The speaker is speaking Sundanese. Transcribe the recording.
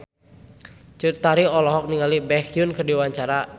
Cut Tari olohok ningali Baekhyun keur diwawancara